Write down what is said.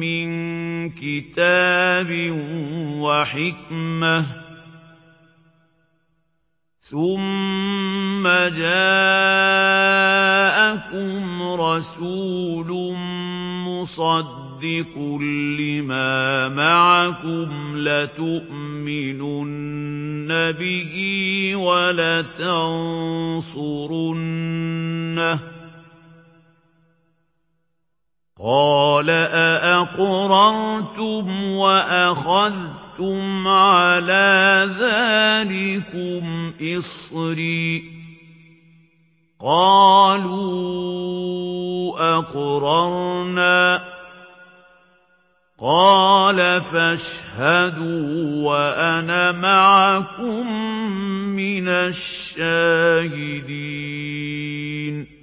مِّن كِتَابٍ وَحِكْمَةٍ ثُمَّ جَاءَكُمْ رَسُولٌ مُّصَدِّقٌ لِّمَا مَعَكُمْ لَتُؤْمِنُنَّ بِهِ وَلَتَنصُرُنَّهُ ۚ قَالَ أَأَقْرَرْتُمْ وَأَخَذْتُمْ عَلَىٰ ذَٰلِكُمْ إِصْرِي ۖ قَالُوا أَقْرَرْنَا ۚ قَالَ فَاشْهَدُوا وَأَنَا مَعَكُم مِّنَ الشَّاهِدِينَ